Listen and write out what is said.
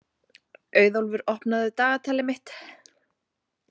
Auðólfur, opnaðu dagatalið mitt.